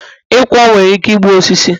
ịkwọ nwere ike igbu osisi